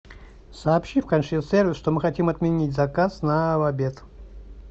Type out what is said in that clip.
сообщи в консьерж сервис что мы хотим отменить заказ на обед